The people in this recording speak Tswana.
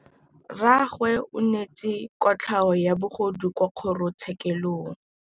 Rragwe o neetswe kotlhaô ya bogodu kwa kgoro tshêkêlông.